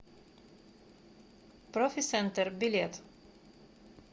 профи сентер билет